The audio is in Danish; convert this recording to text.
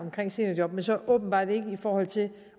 med seniorjob men så åbenbart ikke i forhold til